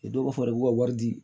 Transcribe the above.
dɔw b'a fɔ de k'u ka wari di